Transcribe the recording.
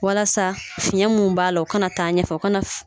Walasa fiɲɛ mun b'a la o kana taa ɲɛfɛ o kana fi kɔnɔ